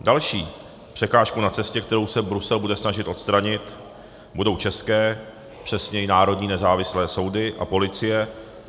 Další překážkou na cestě, kterou se Brusel bude snažit odstranit, budou české, přesněji národní nezávislé soudy a policie.